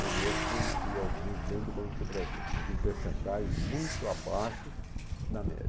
Eu mesmo conheci alguns dentro do Banco do Brasil, mas em porcentagem muito abaixo da média.